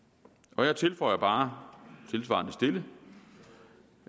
og jeg tilføjer bare tilsvarende stille